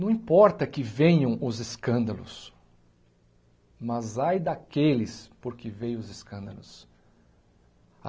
Não importa que venham os escândalos, mas ai daqueles por que veio os escândalos.